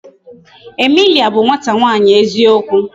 Emilia bụ nwata nwaanyi eziokwu.